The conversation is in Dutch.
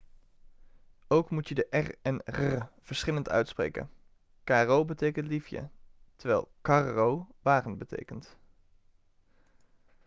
ook moet je de r en rr verschillend uitspreken caro betekent liefje terwijl carro wagen betekent